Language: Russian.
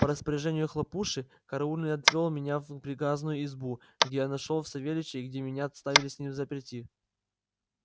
по распоряжению хлопуши караульный отвёл меня в приказную избу где я нашёл и савельича и где меня оставили с ним взаперти